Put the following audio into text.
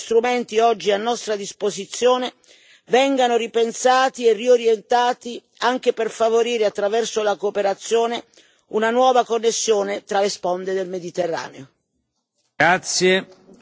Dunque, l'auspicio è che gli strumenti oggi a nostra disposizione vengano ripensati e riorientati anche per favorire, attraverso la cooperazione, una nuova connessione tra le sponde del Mediterraneo.